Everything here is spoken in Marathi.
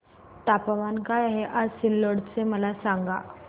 तापमान काय आहे आज सिल्लोड चे मला सांगा